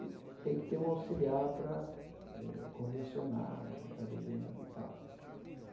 E tem que ter um auxiliar para eh convencionar o que ele está desenhando e tal.